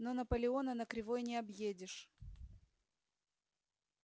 но наполеона на кривой не объедешь